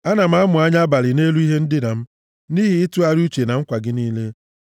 Ana m amụ anya abalị nʼelu ihe ndina m, nʼihi ịtụgharị uche na nkwa gị niile.